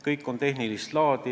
Kõik on tehnilist laadi.